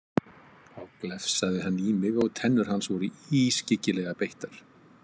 Þá glefsaði hann í mig og tennur hans voru ískyggilega beittar.